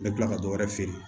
Ne kila ka dɔ wɛrɛ feere